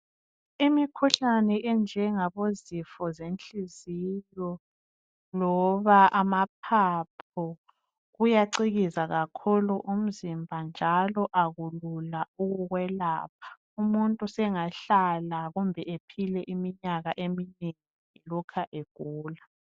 Imikhuhlane enjengabo zifo zenhliziyo loba amaphaphu kuyacikiza kakhulu umzimba njalo akulula ukwelapha . Umuntu sengahlala kumbe ephile iminyaka eminengi elokhe egula.